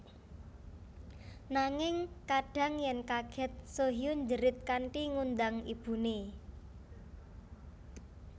Nanging kadhang yen kaget Soo Hyun njerit kanthi ngundang ibune